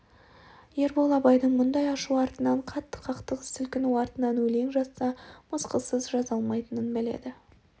ербол абайдың мұндай ашу артынан қатты қақтығыс сілкіну артынан өлең жазса мысқылсыз жаза алмайтынын біледі